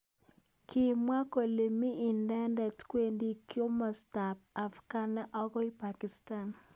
Kimwa kole mi inendet kwendi kimosta ab Afghan akoi Pakistan.